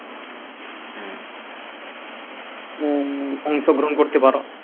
ছোবরাম করতে পারো